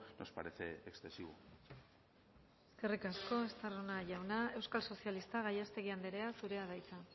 nos parece excesivo eskerrik asko estarrona jauna euskal sozialistak gallástegui andrea zurea da hitza